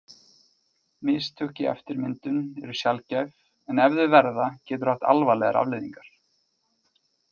Mistök í eftirmyndun eru sjaldgæf en ef þau verða getur það haft alvarlegar afleiðingar.